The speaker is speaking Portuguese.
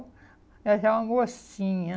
Ela já é uma mocinha.